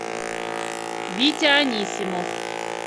витя анисимов